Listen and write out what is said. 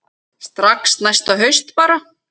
Strax næsta haust bara.